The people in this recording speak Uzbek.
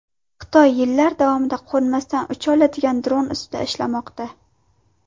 Xitoy yillar davomida qo‘nmasdan ucha oladigan dron ustida ishlamoqda.